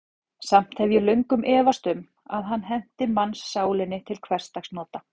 Samt hef ég löngum efast um, að hann henti mannssálinni til hversdagsnota.